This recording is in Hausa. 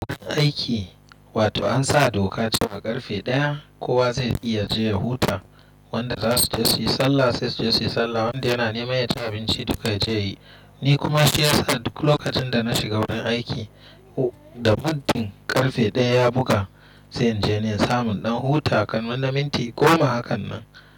Aiki wato an sa doka cewa ƙarfe ɗaya kowa zai iya je ya huta, wanda za su je su yi sallah sai su je su yi sallah, wanda yana neman yaci abinci dukka ya je yi. Ni kuma shi ya sa lokacin da na shiga wurin aiki da muddin ƙarfe ɗaya ya buga zanje ni in samu ɗan huta a kaman na minti goma hakan nan.